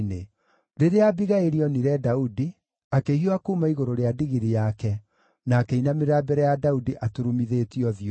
Rĩrĩa Abigaili onire Daudi, akĩhiũha kuuma igũrũ rĩa ndigiri yake na akĩinamĩrĩra mbere ya Daudi aturumithĩtie ũthiũ thĩ.